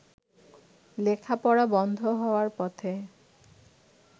লেখাপড়া বন্ধ হওয়ার পথে।